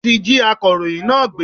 Wọn tí jí akọ̀rọ̀yìn náà gbé.